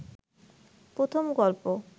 প্রথম গল্প